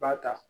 Ba ta